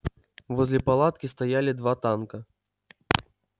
возле палатки стояли два танка